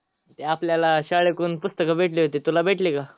ते आपल्याला शाळेकडून पुस्तक भेटली होती तुला भेटली का.